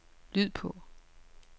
lyd på